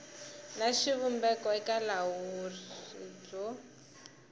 na xivumbeko eka vulawuri byo